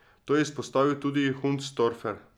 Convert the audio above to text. To je izpostavil tudi Hundstorfer.